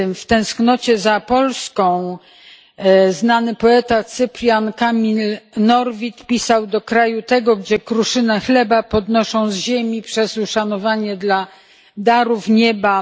W tęsknocie za Polską znany poeta Cyprian Kamil Norwid pisał Do kraju tego, gdzie kruszynę chleba podnoszą z ziemi przez uszanowanie dla darów Nieba...